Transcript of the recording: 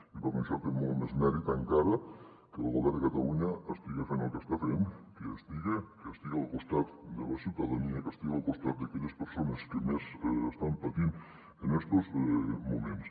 i per això té molt més mèrit encara que el govern de catalunya estiga fent el que està fent que hi estiga que estiga al costat de la ciutadania que estiga al costat d’aquelles persones que més estan patint en estos moments